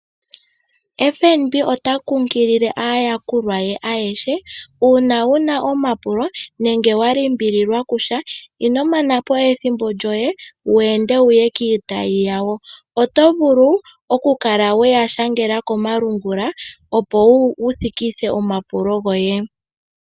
FNB ota kunkilile aayakulwa ye ayehe uuna wuna omapulo nenge wa limbililwa kusha inomanapo we ethimbo lyoye wende wuye kiitayi yawo oto vulu okukala weya shangela komalungula opo wu thikithe omapulo goye.